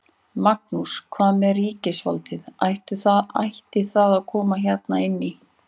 Magnús: Hvað með ríkisvaldið, ætti það að koma hérna inn í?